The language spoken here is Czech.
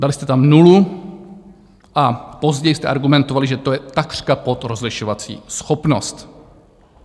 Dali jste tam nulu a později jste argumentovali, že to je takřka pod rozlišovací schopnost.